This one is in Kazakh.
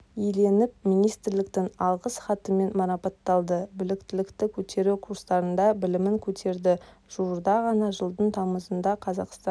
еленіп министрліктің алғыс хатымен марапатталды біліктілікті көтеру курстарында білімін көтерді жуырда ғана жылдың тамызында қазақстан